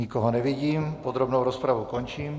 Nikoho nevidím, podrobnou rozpravu končím.